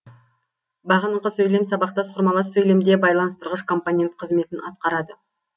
бағынынқы сөйлем сабақтас құрмалас сөйлемде байланыстырғыш компонент кызметін атқарады